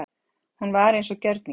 Hún var eins og gjörningar.